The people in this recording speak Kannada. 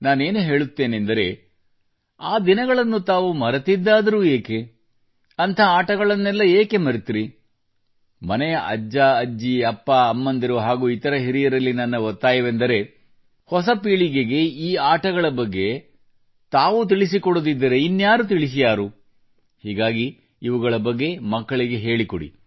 ನಾನೇನು ಹೇಳುತ್ತೇನೆಂದರೆ ಆ ದಿನಗಳನ್ನು ತಾವು ಮರೆತಿದ್ದಾದರೂ ಯಾಕೆ ಅಂಥ ಆಟಗಳನ್ನೆಲ್ಲ ಯಾಕೆ ಮರೆತಿರಿ ಮನೆಯ ಅಜ್ಜಅಜ್ಜಿ ಅಪ್ಪಅಮ್ಮಂದಿರು ಹಾಗೂ ಇತರ ಹಿರಿಯರಲ್ಲಿ ನನ್ನ ಒತ್ತಾಯವೆಂದರೆ ಹೊಸ ಪೀಳಿಗೆಗೆ ಈ ಆಟಗಳ ಬಗ್ಗೆ ತಾವು ತಿಳಿಸಿಕೊಡದಿದ್ದರೆ ಇನ್ಯಾರು ತಿಳಿಸಿಯಾರು ಹೀಗಾಗಿ ಇವುಗಳ ಬಗ್ಗೆ ಮಕ್ಕಳಿಗೆ ಹೇಳಿಕೊಡಿ